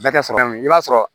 Bɛɛ tɛ sɔrɔ kelen i b'a sɔrɔ